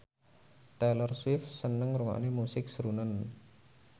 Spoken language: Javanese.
Taylor Swift seneng ngrungokne musik srunen